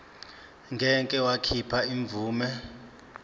ngeke wakhipha imvume